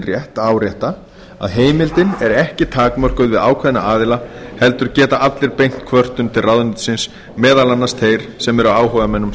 rétt að árétta að heimildin er ekki takmörkuð við ákveðna aðila heldur geta allir beint kvörtun til ráðuneytisins meðal annars þeir sem eru áhugamenn um